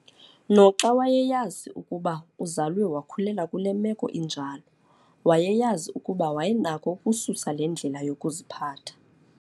Noxa wayeyazi ukuba uzalwe wakhulelwa kule meko injalo, wayeyazi ukuba wayenako ukususa le ndlela yokuziphatha